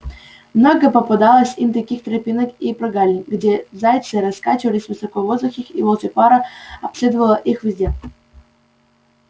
много попадалось им таких тропинок и прогалин где зайцы раскачивались высоко в воздухе и волчья пара обследовала их все